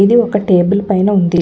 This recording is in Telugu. ఇది ఒక టేబుల్ పైన ఉంది.